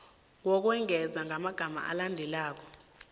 ngokwengeza ngamagama alandelako